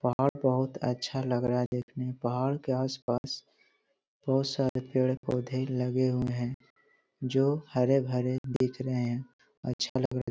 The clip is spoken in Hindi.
पहाड़ बहुत अच्छा लग रहा है देखने पहाड़ के आस-पास बहुत सारे पेड़-पौधे लगे हुए हैं जो हरे-भरे दिख रहें हैं अच्छा लग --